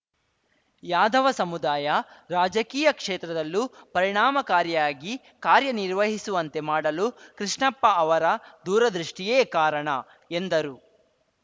ಯಾದವ ಸಮುದಾಯ ರಾಜಕೀಯ ಕ್ಷೇತ್ರದಲ್ಲೂ ಪರಿಣಾಮಕಾರಿಯಾಗಿ ಕಾರ್ಯನಿರ್ವಹಿಸುವಂತೆ ಮಾಡಲು ಕೃಷ್ಣಪ್ಪ ಅವರ ದೂರದೃಷ್ಟಿಯೇ ಕಾರಣ ಎಂದರು